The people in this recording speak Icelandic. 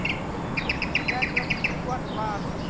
Hverrar trúar var hann?